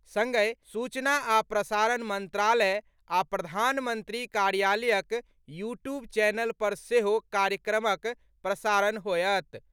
सङ्गहि सूचना आ प्रसारण मंत्रालय आ प्रधानमंत्री कार्यालयक यू ट्यूब चैनल पर सेहो कार्यक्रमक प्रसारण होयत।